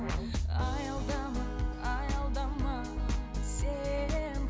аялдама аялдама сен